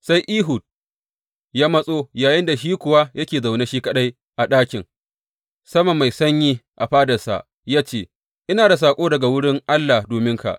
Sai Ehud ya matso yayinda shi kuwa yake zaune shi kaɗai a ɗakin sama mai sanyi a fadansa ya ce, Ina da saƙo daga wurin Allah dominka.